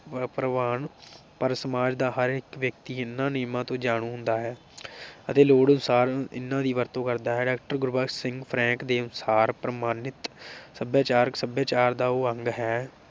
ਪ੍ਰਵਾਨ ਪਰ ਸਮਾਜ ਦਾ ਹਰ ਵਿਅਕਤੀ ਇਨ੍ਹਾਂ ਨਿਯਮਾਂ ਤੋਂ ਜਾਣੂ ਹੁੰਦਾ ਹੈ ਅਤੇ ਲੋੜ ਅਨੁਸਾਰ ਇਨ੍ਹਾਂ ਦੀ ਵਰਤੋਂ ਕਰਦਾ ਹੈ। doctor ਗੁਰਬਖਸ਼ ਸਿੰਘ ਫਰੈਂਕ ਦੇ ਅਨੁਸਾਰ ਪ੍ਰਮਾਣਿਤ ਸਭਿਆਚਾਰ ਸਭਿਆਚਾਰ ਦਾ ਉਹ ਅੰਗ ਹੈ